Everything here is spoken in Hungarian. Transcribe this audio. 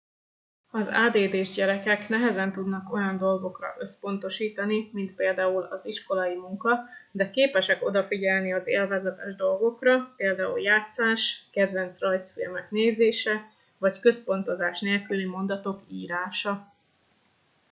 az add s gyerekek nehezen tudnak olyan dolgokra összpontosítani mint például az iskolai munka de képesek odafigyelni az élvezetes dolgokra például játszás kedvenc rajzfilmek nézése vagy központozás nélküli mondatok írása